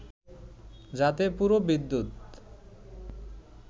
যাতে পুরো বিদ্যুৎ